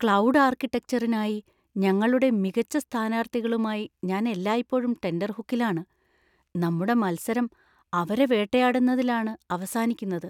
Cloud ആർക്കിടെക്ചറിനായി ഞങ്ങളുടെ മികച്ച സ്ഥാനാർത്ഥികളുമായി ഞാൻ എല്ലായ്പ്പോഴും ടെൻറർഹൂക്കിലാണ്. നമ്മുടെ മത്സരം അവരെ വേട്ടയാടുന്നതിലാണ് അവസാനിക്കുന്നത്.